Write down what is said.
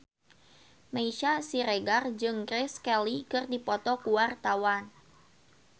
Meisya Siregar jeung Grace Kelly keur dipoto ku wartawan